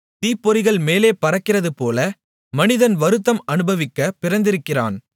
தீப்பொறிகள் மேலே பறக்கிறதுபோல மனிதன் வருத்தம் அநுபவிக்கப் பிறந்திருக்கிறான்